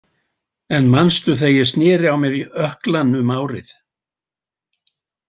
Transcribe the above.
En manstu þegar ég sneri á mér ökklann um árið?